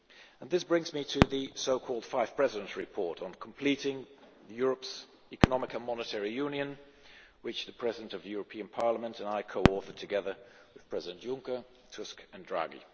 And this brings me to the so called Five Presidents' Report on completing Europe's Economic and Monetary Union, which the President of the European Parliament and I co authored, together with Presidents Juncker, Tusk and Draghi.